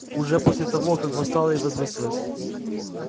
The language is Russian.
уже после того как восстала и возвысилась